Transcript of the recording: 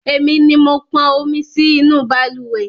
Èmi ni mo pọn omi sí inú balùwẹ́